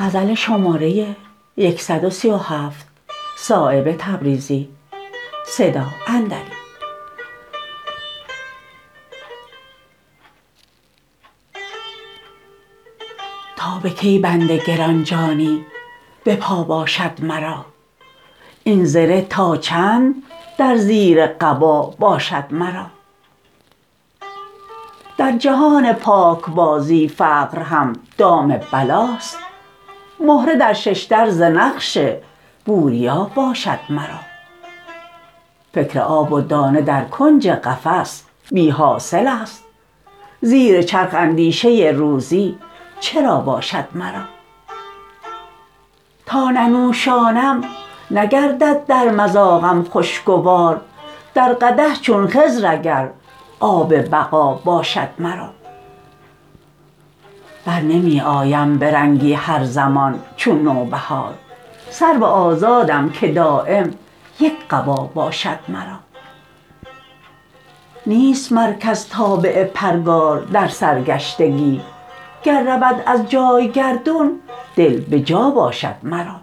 تا به کی بند گرانجانی به پا باشد مرا این زره تا چند در زیر قبا باشد مرا در جهان پاکبازی فقر هم دام بلاست مهره در ششدر ز نقش بوریا باشد مرا فکر آب و دانه در کنج قفس بی حاصل است زیر چرخ اندیشه روزی چرا باشد مرا تا ننوشانم نگردد در مذاقم خوشگوار در قدح چون خضر اگر آب بقا باشد مرا برنمی آیم به رنگی هر زمان چون نوبهار سرو آزادم که دایم یک قبا باشد مرا نیست مرکز تابع پرگار در سرگشتگی گر رود از جای گردون دل به جا باشد مرا